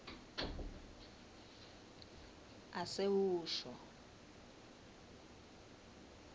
asewusho